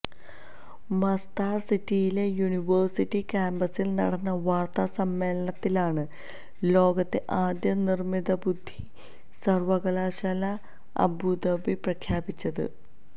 Masdar സിറ്റിയിലെ university കാമ്പസിൽ നടന്ന വാര്ത്താസമ്മേളനത്തിലാണ് ലോകത്തെ ആദ്യ നിര്മിതബുദ്ധി സര്വകലാശാല അബൂദബി പ്രഖ്യാപിച്ചത്